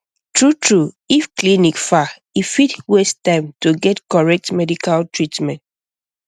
true true if clinic far e fit waste time to get correct medical treatment